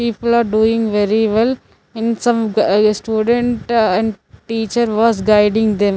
People are doing very well in some student and teacher was guiding them.